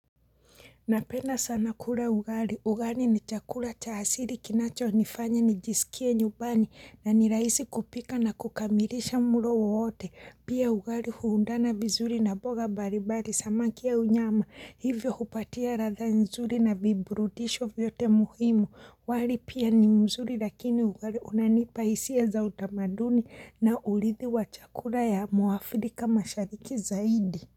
Napenda sana kula ugari. Ugari ni chakula cha hasili kinacho nifanya nijisikie nyubani na nilaisi kupika na kukamilisha mulo wowote. Pia ugari huundana bizuri na boga baribari samaki ya unyama. Hivyo hupatia ratha nzuri na viburutisho vyote muhimu. Wali pia ni mzuri lakini ugari unanipaisia za utamaduni na ulithi wa chakula ya muafirika ma shariki zaidi.